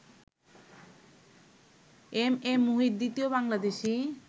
M A Muhith দ্বিতীয় বাংলাদেশী